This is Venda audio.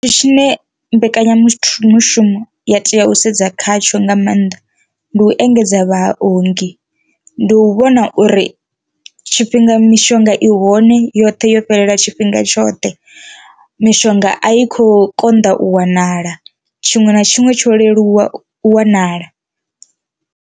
Tshithu tshine mbekanyamushumo ya tea u sedza khatsho nga maanḓa ndi u engedza vhaongi, ndi u vhona uri tshifhinga mishonga i hone yoṱhe yo fhelela tshifhinga tshoṱhe, mishonga a i kho konḓa u wanala tshiṅwe na tshiṅwe tsho leluwa wanala.